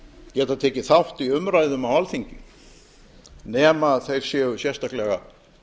geta tekið þátt í umræðum á alþingi nema þeir séu sérstaklega